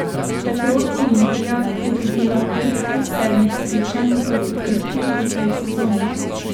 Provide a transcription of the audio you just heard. Petrol Olimpija je dobila pet od sedmih srečanj proti Krki v tej sezoni.